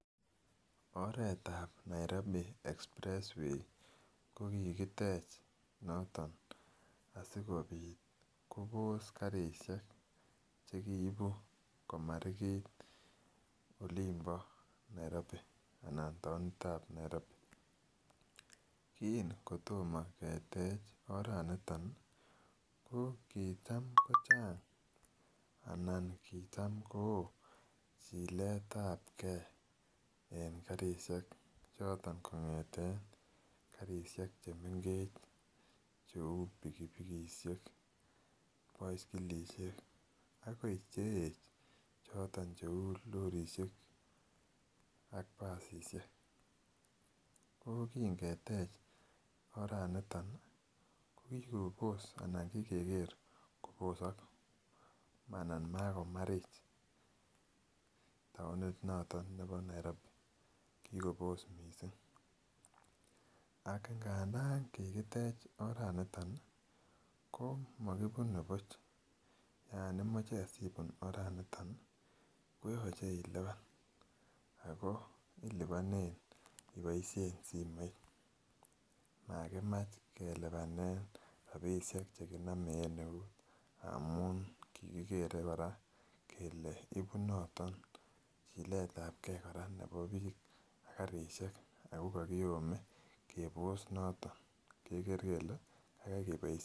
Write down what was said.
Oret nebo Express way kogitech noton asikobit Kobos karisiek chekiibu komarigit en olimbo Nairobi anan taonitab Nairobi kingotoma ketech aratnito ko kotam kochang , anan kitam kochilege, karisiek choton kong'eten karisiek chemengech cheuu pikipikisiek paskilisiek, akoi Cheech, ak basisiek, ogo ki ketech oranito ih , kokibos Anan Kobos Ako makomarich oret naton nebo Nairobi, kikobos ak ngadaan kikitech oranito , ko magibune buch Yoon imoche ibuun oret ni koyache iluban , Ako ilubanen ibaishen simoit magimach kelubanen rabisiek cheginame en eut, amuun kigigere kora kele ibu noton chiletable nebo bik ak karisiek ak kakiyome kebos noton keker kele kakai keboisien.